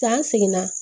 K'an seginna